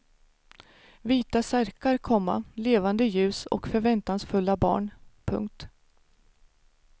Vita särkar, komma levande ljus och förväntansfulla barn. punkt